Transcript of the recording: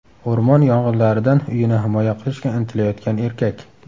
O‘rmon yong‘inlaridan uyini himoya qilishga intilayotgan erkak.